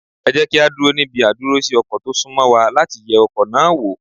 Ẹ jẹ́ kí á dúró níbi àdúrósí ọkọ̀ tó sún mọ́ wa láti yẹ ọkọ̀ náà wò.